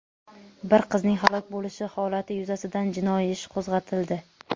bir qizning halok bo‘lishi holati yuzasidan jinoiy ish qo‘zg‘atildi.